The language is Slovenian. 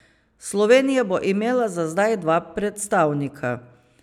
Slovenija bo imela za zdaj dva predstavnika.